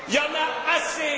Il y en a assez.